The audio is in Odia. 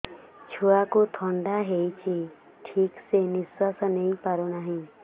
ଛୁଆକୁ ଥଣ୍ଡା ହେଇଛି ଠିକ ସେ ନିଶ୍ୱାସ ନେଇ ପାରୁ ନାହିଁ